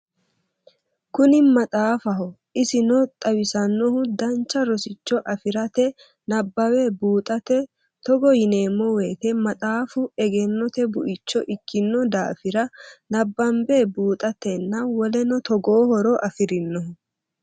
Kuni maxaafaho isino xawisannohu dancha rosicho afirate nabbawe buuxate togo yineemmo woyite maxaaffu egennote buicho ikkino daafira nabbanbe buuxatenna woleno togoo horo afirinoho